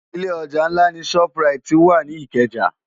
Ilé òjá nlá ni ṣòp ráiti wá ni Ikeja